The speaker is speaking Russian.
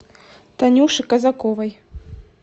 танюше казаковой